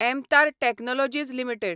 MTAR technologies limited